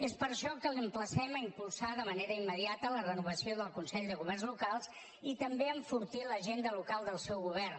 és per això que l’emplacem a impulsar de manera immediata la renovació del consell del governs locals i també a enfortir l’agenda local del seu govern